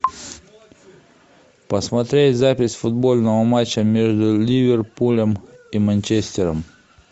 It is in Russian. посмотреть запись футбольного матча между ливерпулем и манчестером